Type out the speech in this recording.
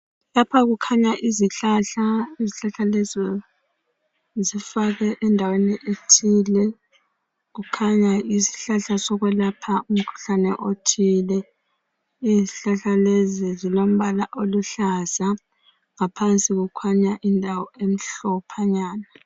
Lapha kukhanya izihlahla. Izihlahla lezi zifakwe endaweni ethile kukhanya yisihlahla sokwelapha umkhuhlane othile. Izihlahla lezi zilombala oluhlaza ngaphansi kukhanya indawo emhlophanyana